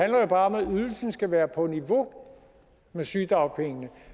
jo bare om at ydelsen skal være på niveau med sygedagpengene